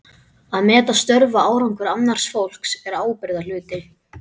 Að meta störf og árangur annars fólks er ábyrgðarhluti.